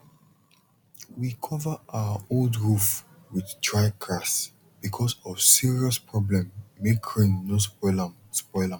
we cover our old roof with dry grass because of serious problem make rain no spoil am spoil am